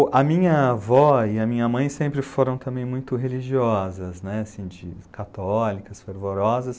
A minha avó e a minha mãe sempre foram também muito religiosas, católicas, fervorosas.